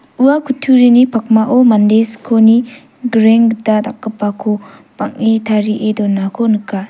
ua kutturini pakmao mande skoni grenggita dakgipako bang·e tarie donako nika.